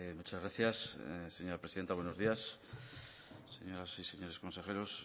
muchas gracias señora presidenta buenos días señoras y señores consejeros